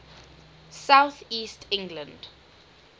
south east england